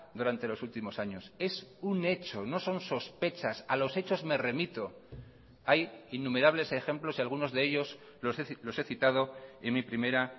durante los últimos años es un hecho no son sospechas a los hechos me remito hay innumerables ejemplos y algunos de ellos los he citado en mi primera